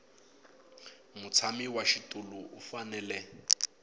mutshami wa xitulu u fanele